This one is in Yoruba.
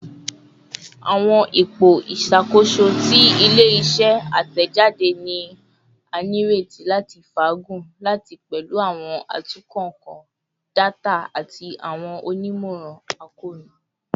Awọn ipo iṣakoso ti ile-iṣẹ atẹjade ni a nireti lati faagun lati pẹlu awọn atunnkanka data ati awọn onimọran akoonu